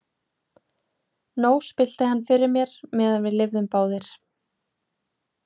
Nóg spillti hann fyrir mér meðan við lifðum báðir.